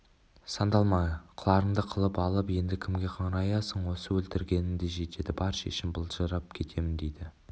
сандалма қыларыңды қылып алып енді кімге қыңыраясың осы өлтіргенің де жетеді бар шешін былжырап кетемін дейді